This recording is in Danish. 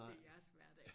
Det jeres hverdag